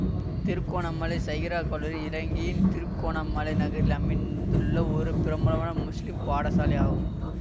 திருகோணமலை சகிரா கல்லூரி இலங்கையின் திருகோணமலை நகரில் அமைந்துள்ள ஒரு பிரபலமான முஸ்லிம் பாடசாலை ஆகும்